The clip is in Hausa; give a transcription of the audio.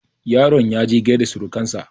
yaron ya je gaida surukansa